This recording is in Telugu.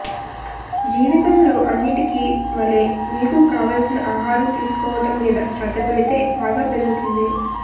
జీవితంలో అన్నిటికీ వలె మీకు కావాల్సిన ఆహారం తీసుకోవటం మీద శ్రద్ద పెడితే బాగా పెరుగుతుంది